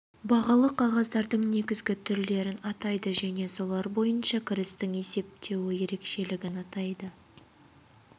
тозуы амортизация қол есебі қормен қаруландыру энергиясымен қамтамасыз ету құрал жабдық ауыстыру коэффициенті